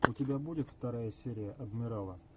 у тебя будет вторая серия адмирала